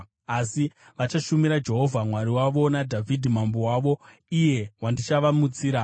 Asi, vachashumira Jehovha Mwari wavo naDhavhidhi mambo wavo, iye wandichavamutsira.